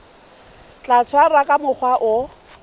tla tshwarwa ka mokgwa o